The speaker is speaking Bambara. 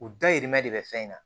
U dayirimɛ de bɛ fɛn in na